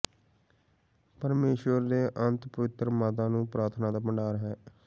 ਪਰਮੇਸ਼ੁਰ ਦੇ ਅੱਤ ਪਵਿੱਤਰ ਮਾਤਾ ਨੂੰ ਪ੍ਰਾਰਥਨਾ ਦਾ ਭੰਡਾਰ ਹੈ